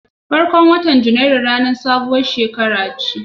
Farkon watan Janairu ranar sabuwar shekara ce.